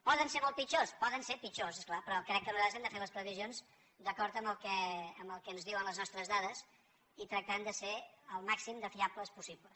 poden ser molt pitjors poden ser pitjors és clar però crec que nosaltres hem de fer les previsions d’acord amb el que ens diuen les nostres dades i tractant de ser el màxim de fiables possibles